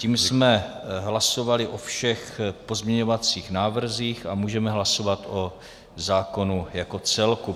Tím jsme hlasovali o všech pozměňovacích návrzích a můžeme hlasovat o zákonu jako celku.